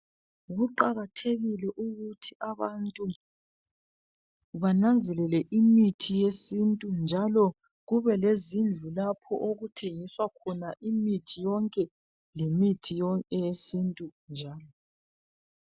Kuqakathekile ukuthi abantu bananzelele imithi yesintu njalo kube lezindlu lapho okuthengiswa khona imithi yonke lemithi yesintu njalo.